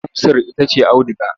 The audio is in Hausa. Amsar ita ce auduga.